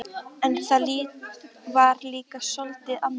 En það var líka soldið annað.